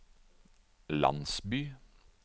landsby